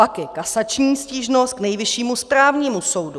Pak je kasační stížnost k Nejvyššímu správnímu soudu.